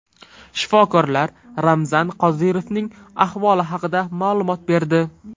Shifokorlar Ramzan Qodirovning ahvoli haqida ma’lumot berdi.